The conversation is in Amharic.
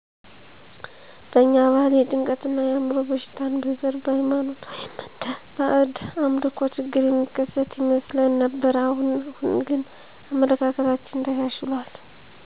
በእኛ ባህል የጭንቀት እና የአዕምሮ በሽታን በዘር ,በሃይማኖት ወይም እንደ ባእድ አምልኮ ችግር የሚከሰት ይመስለን ነበር። አሁን አሁን ግን አመለካከታችን ተሻሽሎል